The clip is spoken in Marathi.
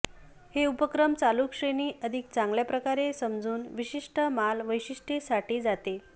हे उपक्रम चालू श्रेणी अधिक चांगल्या प्रकारे समजून विशिष्ट माल वैशिष्ट्ये साठी जाते